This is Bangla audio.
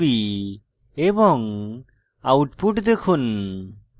এবং output দেখুন